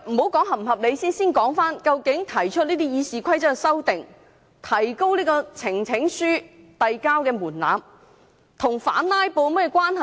先不談是否合理，先說究竟提出這項《議事規則》修訂建議來提高有關門檻與反"拉布"有何關係呢？